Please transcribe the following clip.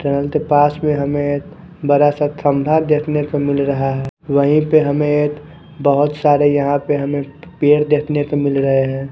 Train के पास में हमे एक बड़ा सा खम्बा देखने को मिल रहा है वही पे हमे एक बहुत सारे यहाँ पे हमे पेड़ देखने को मिल रहे है।